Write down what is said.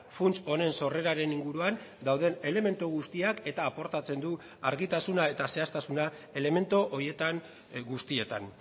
funts honen sorreraren inguruan dauden elementu guztiak eta aportatzen du argitasuna eta zehaztasuna elementu horietan guztietan